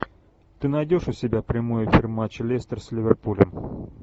ты найдешь у себя прямой эфир матча лестер с ливерпулем